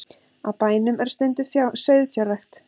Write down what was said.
Á bænum er stunduð sauðfjárrækt